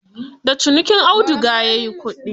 Da cinikin auduga ya yi kudi.